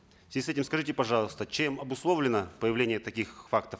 в связи с этим скажите пожалуйста чем обусловлено появление таких фактов